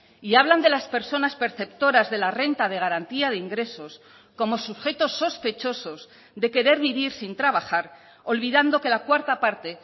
y hablan de las personas perceptoras de la renta de garantía de ingresos como sujetos sospechosos de querer vivir sin trabajar olvidando que la cuarta parte